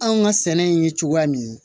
Anw ka sɛnɛ in ye cogoya min